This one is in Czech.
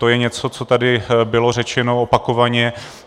To je něco, co tady bylo řečeno opakovaně.